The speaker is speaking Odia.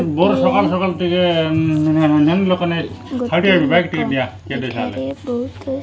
ଇଏ ଗୋଟିଏ ଲୋକ ଏଠାରେ ବହୁତ --